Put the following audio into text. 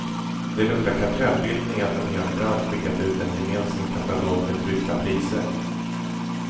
Det luktar kartellbildning att en hel bransch skickar ut en gemensam katalog med tryckta priser.